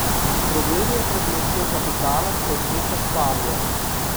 Problem je pred močjo kapitala klečeča Španija.